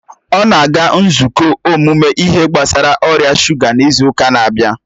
ọ na-aga nzukọ ọmụmụ ihe gbasara ọrịa shuga n'izu ụka na-abịa